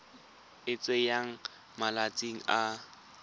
e e tsayang malatsi a